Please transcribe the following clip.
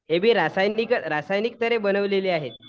हे बी रासायनिक रासायनिक तर्हे बनवलेले आहे.